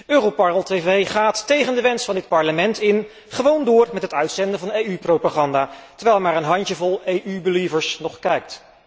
Europarl tv gaat tegen de wens van dit Parlement in gewoon door met het uitzenden van EU propaganda, terwijl maar een handjevol EU believers nog kijkt.